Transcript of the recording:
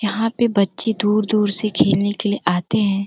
यहाँ पे बच्चे दूर-दूर से खेलने के लिए आते हैं।